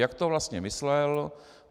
Jak to vlastně myslel?